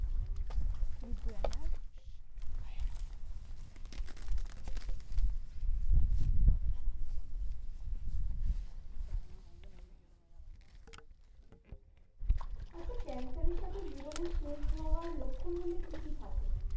আচ্ছা cancer এর সাথে জীবনের শেষ হওয়ার লক্ষণগুলোয় কি কি থাকে?